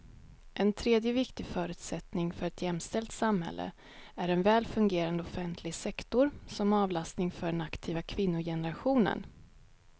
En tredje viktig förutsättning för ett jämställt samhälle är en väl fungerande offentlig sektor som avlastning för den aktiva kvinnogenerationen.